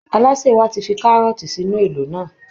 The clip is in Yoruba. Alásè wa ti fi kárọ́ọ̀tì sínú èlò náà